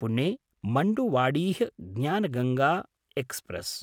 Pune-Manduadih Gyanganga express